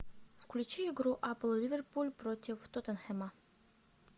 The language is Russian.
включи игру апл ливерпуль против тоттенхэма